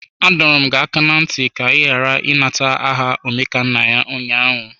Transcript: Adọọrọ m gị aka na ntị ka ị ghara ịnata aha Omekannaya ụnyaahụ!